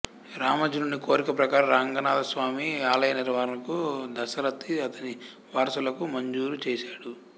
రామానుజుడి కోరిక ప్రకారం రాంగనాథస్వామి ఆలయ నిర్వహణను దసరతి అతని వారసులకు మంజూరు చేశాడు